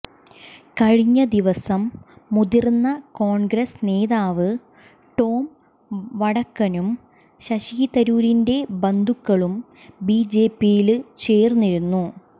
കഴിഞ്ഞ ദിവസം മുതിര്ന്ന കോണ്ഗ്രസ് നേതാവ് ടോം വടക്കനും ശശി തരൂരിന്റെ ബന്ധുക്കളും ബിജെപിയില് ചേര്ന്നിരുന്നു